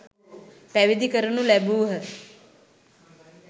පැවිදි කරනු ලැබූහ.